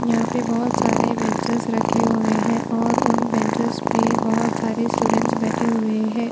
यहां पे बहुत सारे बेनच रखे हुए हैं और उन बेनच पे बहोत सारे स्टूडेंट बैठें हुए हैं।